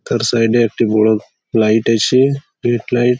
তার সাইড এ একটি বড়ো লাইট আছে স্ট্রিট লাইট ।